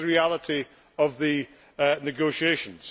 But that is the reality of the negotiations.